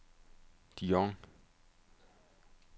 Dijon